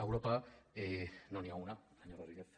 d’europa no n’hi ha una senyor rodríguez